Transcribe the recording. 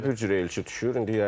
Hərə bir cürə elçi düşür.